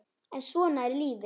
en svona er lífið.